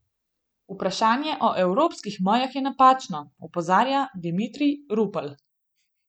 Vprašanje o evropskih mejah je napačno, opozarja Dimitrij Rupel.